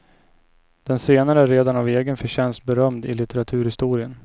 Den senare är redan av egen förtjänst berömd i litteraturhistorien.